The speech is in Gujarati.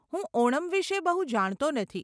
હું ઓણમ વિષે બહુ જાણતો નથી.